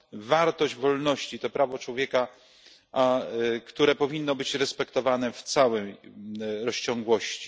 wartość wolności, to prawo człowieka, które powinno być respektowane w całej rozciągłości.